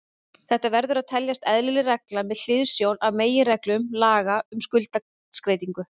Þetta verður að teljast eðlileg regla með hliðsjón af meginreglum laga um skuldskeytingu.